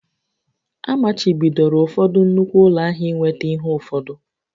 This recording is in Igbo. Amachibidoro ụfọdụ nnukwu ụlọ ahịa ị nweta ihe ụfọdụ